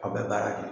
Aw bɛ baara kɛ